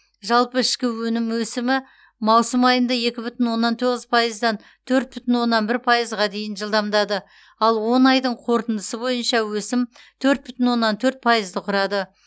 жалпы ішкі өсімі маусым айында екі бүтін оннан тоғыз пайыздан төрт бүтін оннан бір пайызға дейін жылдамдады ал он айдың қорытындысы бойынша өсім төрт бүтін оннан төрт пайызды құрады